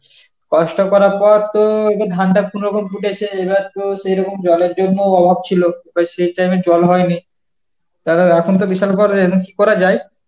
চাষটা করার পর তো এবার ধানটা কোনরকম ফুটেছে এবার তো সেরকম জলের জন্য অভাব ছিল সেই time এ জল হয়নি, তালে এখন তো বিশাল problem, এখন কি করা যায়?